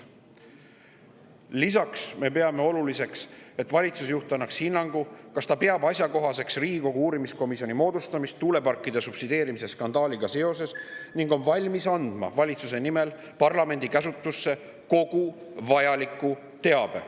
Lisaks me peame oluliseks, et valitsusjuht annaks hinnangu, kas ta peab asjakohaseks Riigikogu uurimiskomisjoni moodustamist tuuleparkide subsideerimise skandaaliga seoses ning on valmis andma valitsuse nimel parlamendi käsutusse kogu vajaliku teabe.